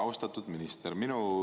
Austatud minister!